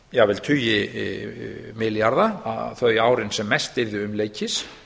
jafnvel tugi milljarða þau árin sem mest yrðu umleikis